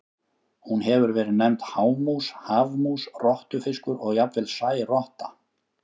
Hún hefur verið nefnd hámús, hafmús, rottufiskur og jafnvel særotta.